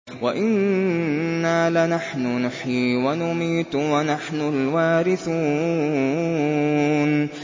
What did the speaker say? وَإِنَّا لَنَحْنُ نُحْيِي وَنُمِيتُ وَنَحْنُ الْوَارِثُونَ